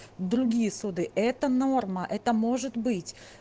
другие суды это норма это может быть